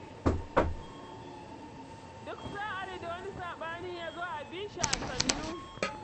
Duk sa'ar da wani saɓani ya zo abi shi a sannu.